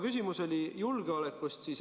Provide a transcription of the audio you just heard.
Küsimus oli julgeolekust.